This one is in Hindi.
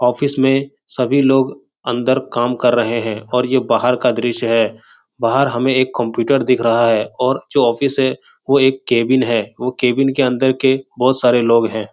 ऑफिस में सभी लोग अंदर काम कर रहे है और ये बाहर का दृश्य है बाहर हमें एक कंप्यूटर दिख रहा है और जो ऑफिस है वो एक केबिन है वो केबिन के अंदर के बहोत सारे लोग हैं।